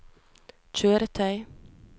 kjøretøy